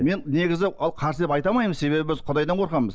мен негізі ал қарсы деп айта алмаймын себебі біз құдайдан қорқамыз